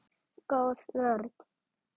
Góð vörn.